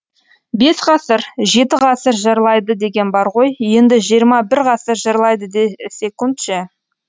бес ғасыр жеті ғасыр жырлайды деген бар ғой енді жиырма бір ғасыр жырлайды десекунд ше